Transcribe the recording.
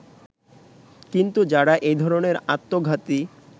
কিন্তু যারা এ-ধরনের আত্মঘাতী